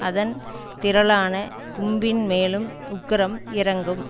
அதன் திரளான கும்பின் மேலும் உக்கிரம் இறங்கும்